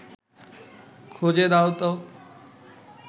খুঁজে দাও তো